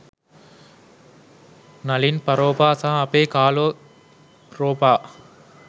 නලින් පරෝපා සහ අපේ කාලෝ ප්රෝපා